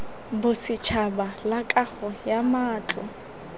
bosetšhaba la kago ya matlo